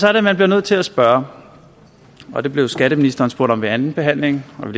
er det man bliver nødt til at spørge og det blev skatteministeren spurgt om ved andenbehandlingen men